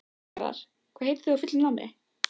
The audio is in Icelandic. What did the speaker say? Garðar, hvað heitir þú fullu nafni?